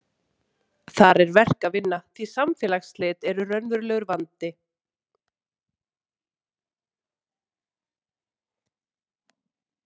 Þar er verk að vinna, því samfélagsslit eru raunverulegur vandi.